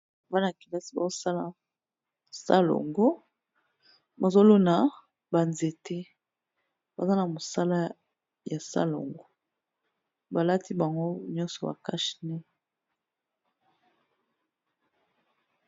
Bana kelasi bao sala salongo, bazo lona ba nzete baza na mosala ya salongo. Ba lati bango nyonso ba cache nez.